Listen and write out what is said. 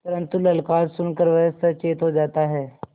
परन्तु ललकार सुन कर वह सचेत हो जाता है